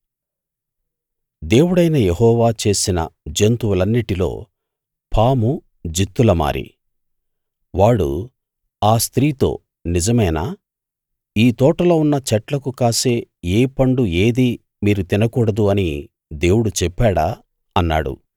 దేవుడైన యెహోవా చేసిన జంతువులన్నిటిలో పాము జిత్తులమారి వాడు ఆ స్త్రీతో నిజమేనా ఈ తోటలో ఉన్న చెట్లకు కాసే ఏ పండు ఏదీ మీరు తినకూడదు అని దేవుడు చెప్పాడా అన్నాడు